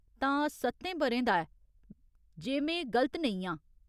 तां, सत्तें ब'रें दा ऐ, जे में गलत नेईं आं।